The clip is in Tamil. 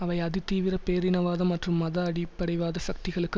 அவை அதிதீவிர பேரினவாத மற்றும் மத அடிப்படைவாத சக்திகளுக்கு